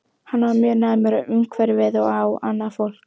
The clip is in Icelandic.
Hann var mjög næmur á umhverfið og á annað fólk.